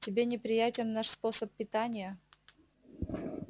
тебе неприятен наш способ питания